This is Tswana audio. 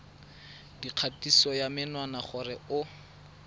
dikgatiso ya menwana gore o